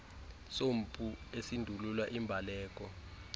sompu esindulula imbaleki